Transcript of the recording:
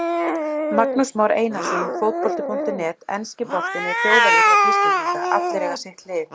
Magnús Már Einarsson, Fótbolti.net Enski boltinn er þjóðaríþrótt Íslendinga, allir eiga sitt lið.